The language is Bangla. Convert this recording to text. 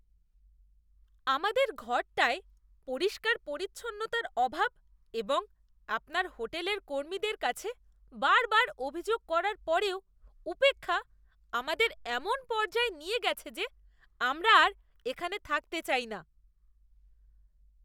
আমাদের ঘরটায় পরিষ্কার পরিচ্ছন্নতার অভাব এবং আপনার হোটেলের কর্মীদের কাছে বারবার অভিযোগ করার পরেও উপেক্ষা আমাদের এমন পর্যায়ে নিয়ে গেছে যে আমরা আর এখানে থাকতে চাই না।